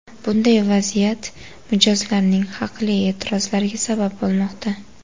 Bunday vaziyat mijozlarning haqli e’tirozlariga sabab bo‘lmoqda.